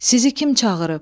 Sizi kim çağırıb?